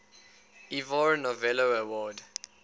ivor novello award